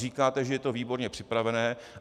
Říkáte, že je to výborně připravené.